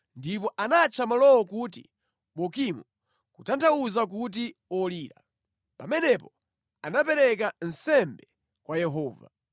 ndipo anatcha malowo kuti Bokimu (kutanthauza kuti Olira). Pamenepo anapereka nsembe kwa Yehova.